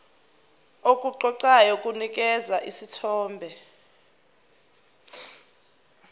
okuqoqayo kunikeza isithombe